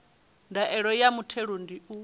ndaela ya muthelo ndi u